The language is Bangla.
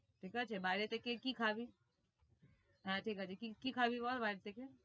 ঠিক আছে বাইরে থেকে কি খাবি? আহ ঠিক আছে কি কি খাবি বল বাইরে থেকে?